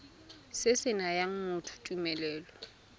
se se nayang motho tumelelo